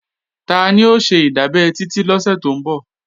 Tani ó ṣe ìdábẹ́ Titi lọ́sẹ̀ tó ń bọ̀?